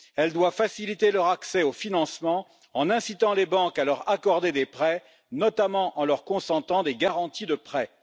Elle doit faciliter leur accès aux financements en incitant les banques à leur accorder des prêts, notamment en leur consentant des garanties de prêt.